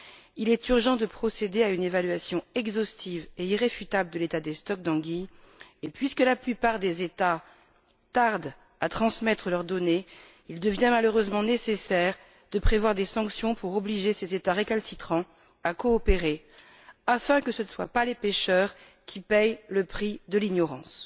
Il est urgent de procéder à une évaluation exhaustive et irréfutable de l'état des stocks d'anguilles et, puisque la plupart des États tardent à transmettre leurs données, il devient malheureusement nécessaire de prévoir des sanctions pour obliger ces États récalcitrants à coopérer, afin que les pêcheurs n'aient pas à payer le prix de l'ignorance.